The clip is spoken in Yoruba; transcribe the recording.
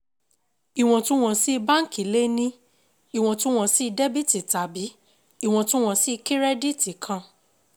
Ìwọ̀ntun-wọ̀nsi báǹkì le ní ìwọ̀ntun-wọ̀nsi dẹ̀bítí tàbí ìwọ̀ntun-wọ̀nsi kírẹ́díìtì kan